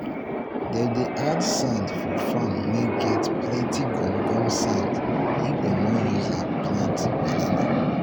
them dey add sand for farm wey get plenty gum gum sand if them want use am for plant banana